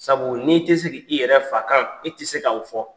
Sabu n'i te se ki i yɛrɛ fa kan e ti se ka o fɔ.